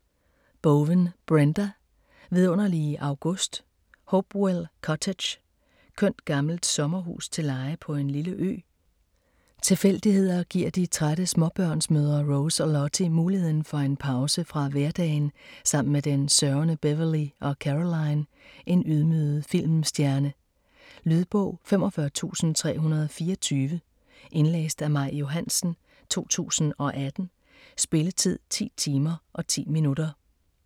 Bowen, Brenda: Vidunderlige august Hopewell Cottage. Kønt gammelt sommerhus til leje på en lille ø. Tilfældigheder giver de trætte småbørnsmødre Rose og Lottie muligheden for en pause fra hverdagen sammen med den sørgende Beverly og Caroline, en ydmyget filmstjerne. Lydbog 45324 Indlæst af Maj Johansen, 2018. Spilletid: 10 timer, 10 minutter.